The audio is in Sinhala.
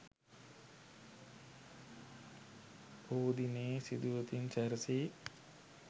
පොහෝ දිනයේ සුදුවතින් සැරැසී